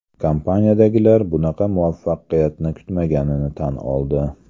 Kompaniyadagilar bunaqa muvaffaqiyatni kutmaganini tan oldi.